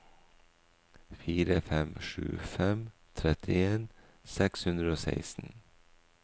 fire fem sju fem trettien seks hundre og seksten